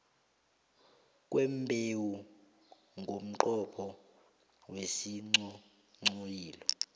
kwembewu ngomnqopho wesinghonghoyilo